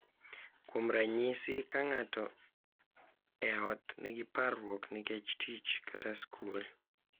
Kuom ranyisi, ka ng’ato e ot nigi parruok nikech tich kata skul, .